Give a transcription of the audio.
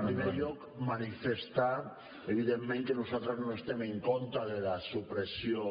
en primer lloc manifestar evidentment que nosaltres no estem en contra de la supressió